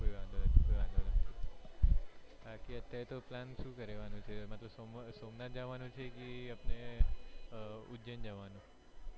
કોઈ વાંધો નથી કોઈ વાંધો નથી બાકી અત્યારે તો plan શું કર્યો મતલબ સોમનાથ જવાનું છે કે આપણે એ ઉજ્જૈન જવાનું